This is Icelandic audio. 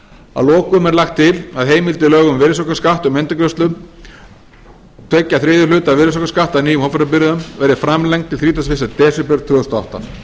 að lokum er lagt til að heimild í lögum um virðisaukaskatt um endurgreiðslu tveir þriðju hluta virðisaukaskatts af nýjum hópferðabifreiðum verði framlengd til þrítugasta og fyrsta desember tvö þúsund og átta